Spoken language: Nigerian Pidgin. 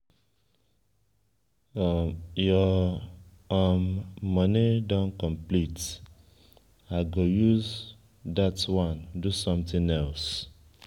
your um money don complete i go use use dat wan do something else.